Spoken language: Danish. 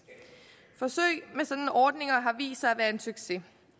forsøg med sådanne ordninger har vist sig at være en succes